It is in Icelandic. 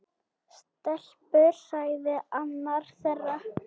Stelpur sagði annar þeirra.